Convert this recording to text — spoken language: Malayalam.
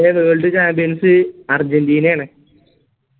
world chambians അർജന്റീനയാണ്